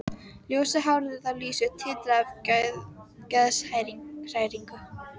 Ljósa hárið á Lísu titrar af geðshræringu.